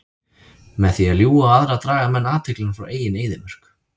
Með því að ljúga á aðra draga menn athyglina frá eigin eyðimörk.